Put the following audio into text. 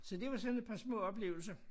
Så det var sådan et par små oplevelser